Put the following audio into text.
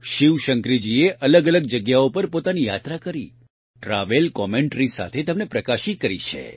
શિવશંકરીજીએ અલગઅલગ જગ્યાઓ પર પોતાની યાત્રા કરી ટ્રાવેલ કોમેન્ટરી સાથે તેમને પ્રકાશિત કરી છે